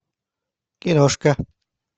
киношка